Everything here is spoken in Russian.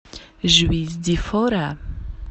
жуис ди фора